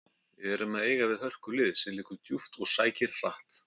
Við erum að eiga við hörkulið sem liggur djúpt og sækir hratt.